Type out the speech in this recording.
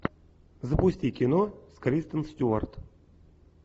запусти кино с кристен стюарт